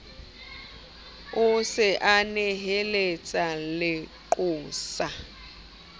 a se a neheletsa leqosa